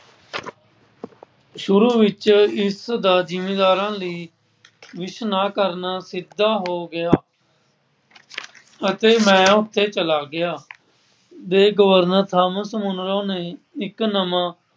ਸ਼ੁਰੂ ਵਿੱਚ ਦਾ ਜਿਮੀਂਦਾਰਾਂ ਲਈ ਨਾ ਕਰਨਾ ਕਿੱਤਾ ਹੋ ਗਿਆ। ਅਤੇ ਮੈਂ ਉੱਥੇ ਚਲਾ ਗਿਆ, ਜੇ ਗਵਰਨਰ ਥਾਂਮਸ ਮੁਨਰੋ ਨੇ ਇੱਕ ਨਵਾਂ